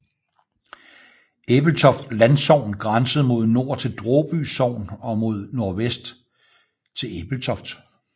Ebeltoft Landsogn grænsede mod nord til Dråby Sogn og mod nordvest til Ebeltoft